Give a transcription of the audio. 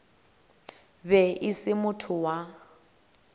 be e se motho wa